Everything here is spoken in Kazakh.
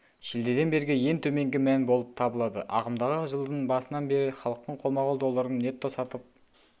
шілдеден бергі ең төменгі мән болып табылады ағымдағы жылдың басынан бері халықтың қолма-қол долларын нетто-сатып